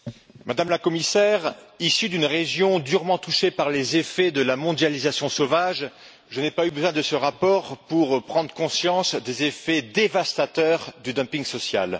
Madame la Présidente, Madame la Commissaire, issu d'une région durement touchée par les effets de la mondialisation sauvage, je n'ai pas eu besoin de ce rapport pour prendre conscience des effets dévastateurs du dumping social.